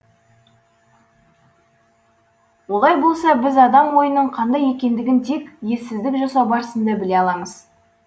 олай болса біз адам ойының қандай екендігін тек ессіздік жасау барысында біле аламыз